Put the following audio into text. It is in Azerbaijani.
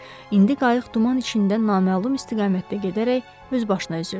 İndi qayıq duman içində naməlum istiqamətdə gedərək öz başına üzürdü.